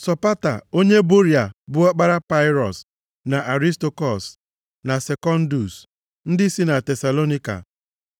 Sopata onye Boria bụ ọkpara Pirọs, na Arịstakọs, na Sekundus ndị si na Tesalonaịka,